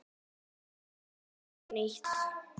Byrjum aftur upp á nýtt.